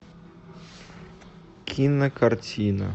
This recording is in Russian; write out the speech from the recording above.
кинокартина